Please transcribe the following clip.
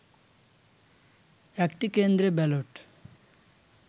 একটি কেন্দ্রে ব্যালট